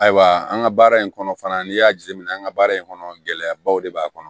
Ayiwa an ka baara in kɔnɔ fana n'i y'a jateminɛ an ka baara in kɔnɔ gɛlɛyabaw de b'a kɔnɔ